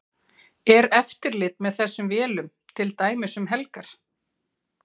Er eftirlit með þessum vélum til dæmis um helgar?